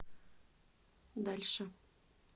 дальше